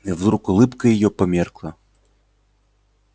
и вдруг улыбка её померкла